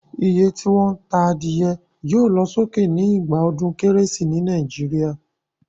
Iye tí wón ta adìyẹ yio lo sókè ni ìgbà odún kérésì ni Naijiria